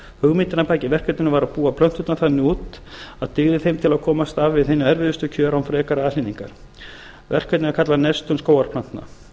hugmyndin að baki verkefninu var að búa plönturnar þannig út að dygði þeim til að komast af við hin erfiðustu kjör án frekari aðhlynningar verkefnið var kallað nestun skógarplantna